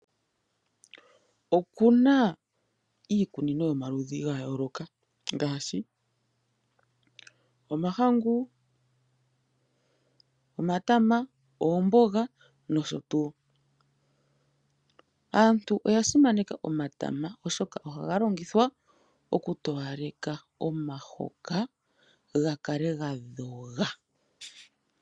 Okuna iikunino yomaludhi ngayoloka ngashi omahangu, omatama, ombonga noshotu, aantu oyasimaneka omatama oshoka ohangalongithwa okutoyaleka omahoka ngakale ngadhonga.